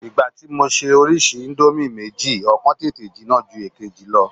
Ìgbà tí mo ṣe orísìí íńdómì méjì, ọ̀kan tètè jinná ju èkejì lọ.